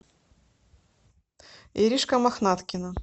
иришка мохнаткина